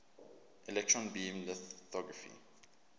electron beam lithography